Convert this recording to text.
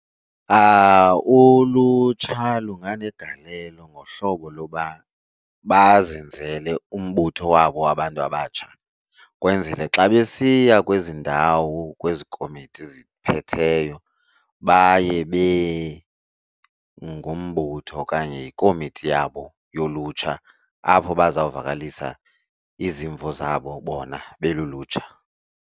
Ulutsha lunganegalelo ngohlobo loba bazenzele umbutho wabo wabantu abatsha kwenzele xa besiya kwezi ndawo, kwezi komiti ziphetheyo, baye bengumbutho okanye ikomiti yabo yolutsha apho bazawuvakalisa izimvo zabo bona belulutsha.